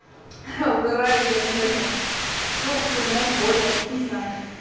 ха угораю я наверное ну блин от боли не знаю